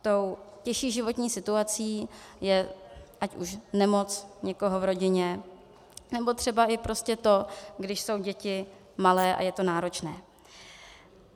Tou těžší životní situací je ať už nemoc někoho v rodině, nebo třeba i prostě to, když jsou děti malé a je to náročné.